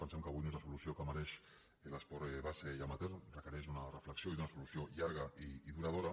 pensem que avui no és la solució que mereix l’esport base i amateur requereix una reflexió i una solució llarga i duradora